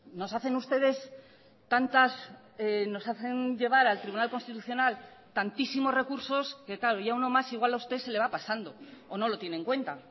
nos hacen ustedes tantas nos hacen llevar al tribunal constitucional tantísimos recursos que claro ya uno más igual a usted se le va pasando o no lo tiene en cuenta